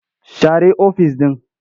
Share ofis ɗin.